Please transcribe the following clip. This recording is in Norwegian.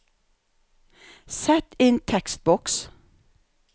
Sett inn tekstboks